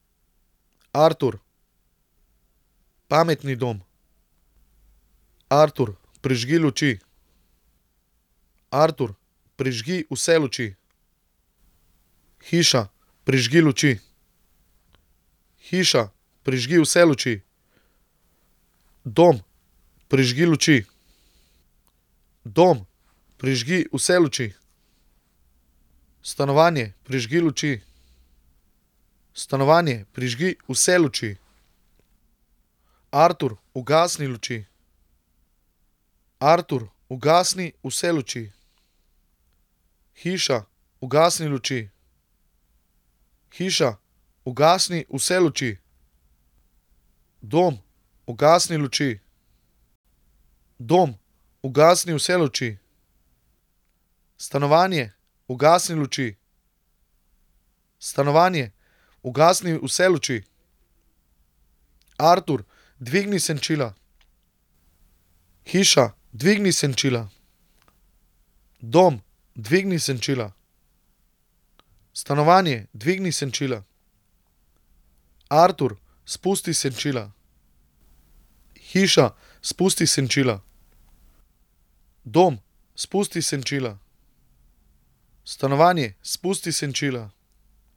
Artur. Pametni dom. Artur, prižgi luči. Artur, prižgi vse luči. Hiša, prižgi luči. Hiša, prižgi vse luči. Dom, prižgi luči. Dom, prižgi vse luči. Stanovanje, prižgi luči. Stanovanje, prižgi vse luči. Artur, ugasni luči. Artur, ugasni vse luči. Hiša, ugasni luči. Hiša, ugasni vse luči. Dom, ugasni luči. Dom, ugasni vse luči. Stanovanje, ugasni luči. Stanovanje, ugasni vse luči. Artur, dvigni senčila. Hiša, dvigni senčila. Dom, dvigni senčila. Stanovanje, dvigni senčila. Artur, spusti senčila. Hiša, spusti senčila. Dom, spusti senčila. Stanovanje, spusti senčila.